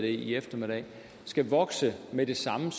i eftermiddags skal vokse med det samme